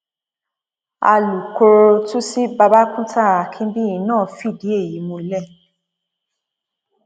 alūkkóró tuci babakunta akinbíyì náà fìdí èyí múlẹ